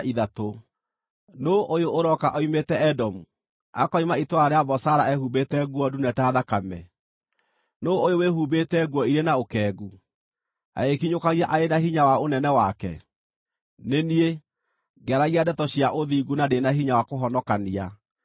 Nũũ ũyũ ũroka oimĩte Edomu, akoima itũũra rĩa Bozara ehumbĩte nguo ndune ta thakame? Nũũ ũyũ wĩhumbĩte nguo irĩ na ũkengu, agĩkinyũkagia arĩ na hinya wa ũnene wake? “Nĩ niĩ, ngĩaragia ndeto cia ũthingu, na ndĩ na hinya wa kũhonokania.”